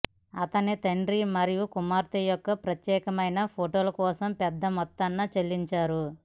అతని తండ్రి మరియు కుమార్తె యొక్క ప్రత్యేకమైన ఫోటోల కోసం పెద్ద మొత్తాన్ని చెల్లించారు